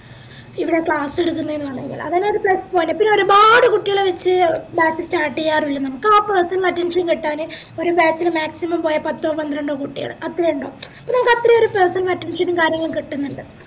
ഇവിടെ class എടക്കുന്നേനാണെന്ൻഗിലും അതെന്നെ ഒര് plus point ആ പിന്നെ ഒരുപാട് കുട്ടികളെ വെച് batch start ചെയ്യാറില്ല നമുക്ക് ആ personal attention കിട്ടാന് ഒര് batch ല് maximum പോയ പത്തോ പന്ത്രണ്ടോ കുട്ടിയള് അത്രയ ഇണ്ടാവൂ അപ്പൊ നമുക്ക് personal attention ഉം കാര്യങ്ങളും കിട്ടിന്നിണ്ട്